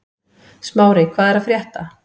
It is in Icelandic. Smári, hvað er að frétta?